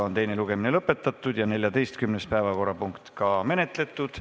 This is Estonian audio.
Teine lugemine on lõpetatud ja 14. päevakorrapunkt menetletud.